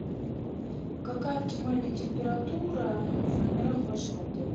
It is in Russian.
какая оптимальная температура в номерах вашего отеля